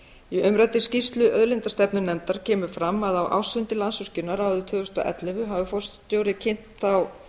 í umræddri skýrslu auðlindastefnunefndar kemur fram að á ársfundi landsvirkjunar árið tvö þúsund og ellefu hafi forstjórinn kynnt þá